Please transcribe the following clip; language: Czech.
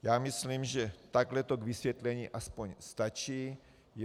Já myslím, že takhle to k vysvětlení aspoň stačí.